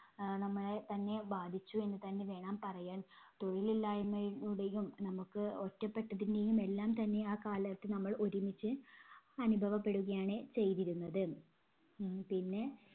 ആഹ് നമ്മളെ തന്നെ ബാധിച്ചു എന്ന് തന്നെ വേണം പറയാൻ. തൊഴിലില്ലായ്മയുടെയും നമുക്ക് ഒറ്റപെട്ടതിന്റെയും എല്ലാം തന്നെ ആ കാലത്ത് നമ്മൾ ഒരുമിച്ച് അനുഭവപ്പെടുകയാണ് ചെയ്‌തിരുന്നത്‌. ഉം പിന്നെ